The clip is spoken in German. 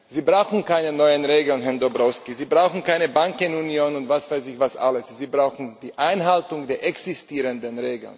Sie brauchen keine neuen Regeln, Herr Dombrovskis, Sie brauchen keine Bankenunion und was weiß ich, was alles, Sie brauchen die Einhaltung der existierenden